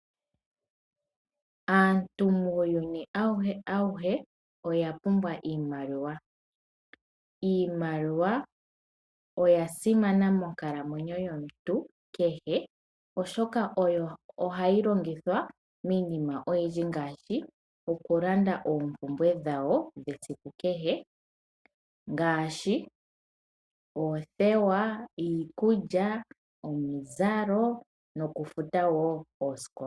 Aantu muuyuni awuhe oya pumbwa iimaliwa. Iimaliwa oya simana monkalamwenyo yomuntu kehe oshoka oyo hayi longithwa miinima oyindji ngaashi okulanda oompumbwe dhawo dhesiku kehe ngaashi oothewa, iikulya, omizalo nokufuta wo oosikola.